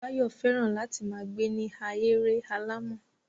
Báyọ̀ fẹ́ràn láti ma gbe ni ahéré alàmọ̀.